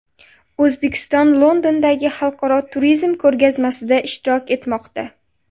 O‘zbekiston Londondagi xalqaro turizm ko‘rgazmasida ishtirok etmoqda.